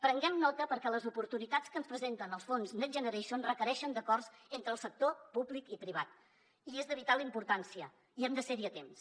prenguem ne nota perquè les oportunitats que ens presenten els fons next generation requereixen acords entre els sectors públic i privat i és de vital importància i hem de ser hi a temps